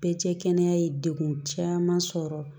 Bɛɛ cɛ kɛnɛya ye degun caman sɔrɔ